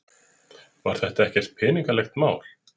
Var þetta ekkert peningalegt mál?